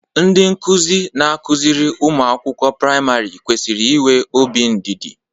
Ndị nkụzi na akụziri ụmụ akwụkwọ priamarị kwesịrị inwe obi ndidi.